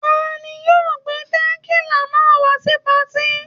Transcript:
Ta ni yóò gbé tẹ̀kílà náà wá sí patí?